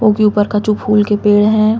उनके ऊपर कछु फूल के पेड़ हैं।